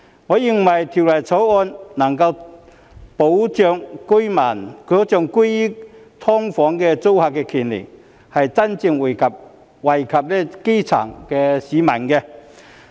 我認為《條例草案》能夠保障居於"劏房"租客的權利，是真正惠及基層市民的。